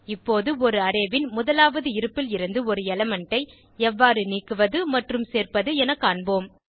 இப்போது ஒரு அரே ன் முதலாவது இருப்பில் இருந்து ஒரு எலிமெண்ட் ஐ எவ்வாறு நீக்குவது மற்றும் சேர்ப்பது என காண்போம்